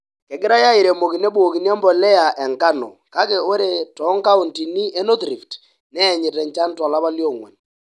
Kegirai airemoki nebukokini embolea engano kake ore to cnkaontini e North Rift neenyita enchan to lapa lioguan